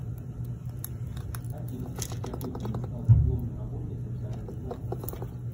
афина какой фильм стал дипломной работой эльдара рязанова